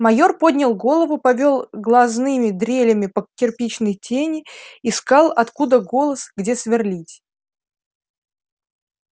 майор поднял голову повёл глазными дрелями по кирпичной тени искал откуда голос где сверлить